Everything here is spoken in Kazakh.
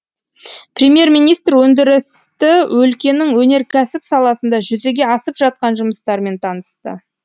премьер министр өндірісті өлкенің өнеркәсіп саласында жүзеге асып жатқан жұмыстармен танысты